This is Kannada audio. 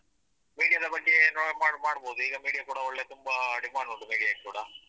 ಕೂಡುದಕ್ಕಿಂತ media ದ ಬಗ್ಗೆ ನು ಮಾಡ್~ ಮಾಡ್ಬೋದು ಈಗ media ಕೂಡ ಒಳ್ಳೇ ತುಂಬ demand media ಕ್ಕೆ ಕೂಡ.